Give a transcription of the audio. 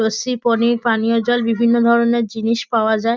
লস্যি পনির পানীয়জল বিভিন্ন ধরণের জিনিস পাওয়া যায়।